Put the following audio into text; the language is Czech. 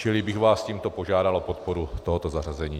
Čili bych vás tímto požádal o podporu tohoto zařazení.